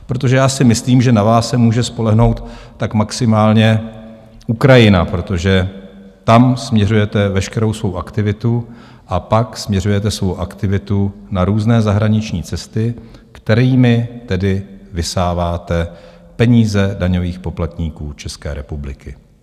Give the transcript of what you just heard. Protože já si myslím, že na vás se může spolehnout tak maximálně Ukrajina, protože tam směřujete veškerou svou aktivitu, a pak směřujete svou aktivitu na různé zahraniční cesty, kterými tedy vysáváte peníze daňových poplatníků České republiky.